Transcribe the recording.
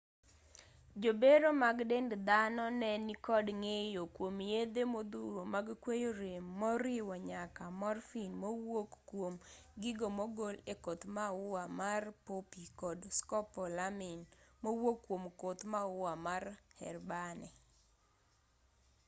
jobero mag dend dhano ne nikod ng'eyo kwom yedhe modhuro mag kweyo rem moriwo nyaka morphine mowuok kwom gigo mogol e koth maua mar poppy kod scopolamine mowuok kwom koth maua mar herbane